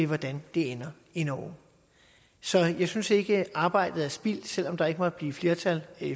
hvordan det ender i norge så jeg synes ikke arbejdet er spildt selv om der ikke måtte blive flertal